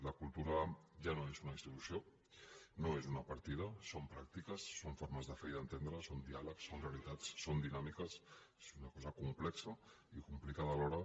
la cultura ja no és una institució no és una partida són pràctiques són formes de fer i d’entendre’s són diàleg són realitats són dinàmiques és una cosa complexa i complicada alhora